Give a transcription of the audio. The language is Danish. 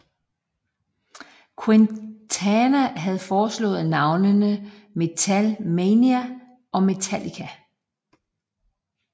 Quintana havde foreslået navnene Metal Mania og Metallica